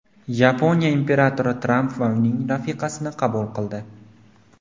Yaponiya imperatori Tramp va uning rafiqasini qabul qildi.